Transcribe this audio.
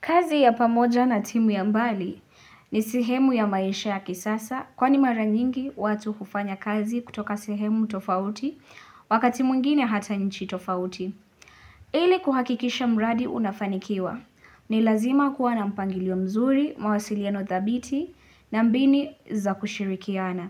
Kazi ya pamoja na timu ya mbali ni sihemu ya maisha ya kisasa kwani mara nyingi watu hufanya kazi kutoka sehemu tofauti wakati mwngine hata nchi tofauti. Ile kuhakikisha mradi unafanikiwa ni lazima kuwa na mpangilio mzuri, mawasiliano thabiti na mbinu za kushirikiana.